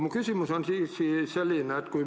Mu küsimus on selline.